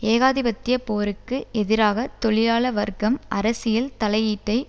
ஏகாதிபத்திய போருக்கு எதிராக தொழிலாள வர்க்கம் அரசியல் தலையீட்டை